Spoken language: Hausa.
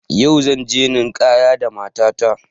Yau zanje ninkaya da mata ta